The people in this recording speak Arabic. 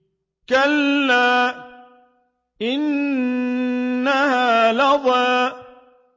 كَلَّا ۖ إِنَّهَا لَظَىٰ